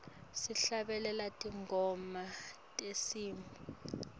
sihlabelela tingoma tesintfu